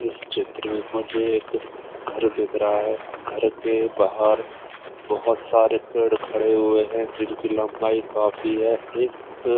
इस चित्र में मुझे एक घर दिख रहा है घर के बाहर बहुत सारे पेड़ खड़े हुए हैं जिनकी लम्बाई काफी है एक--